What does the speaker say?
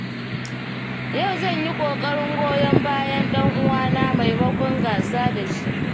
Yau zan yi ƙoƙarin goyon bayan ɗan uwana maimakon gasa da shi.